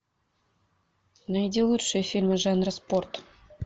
найди лучшие фильмы жанра спорт